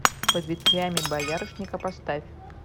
под ветвями боярышника поставь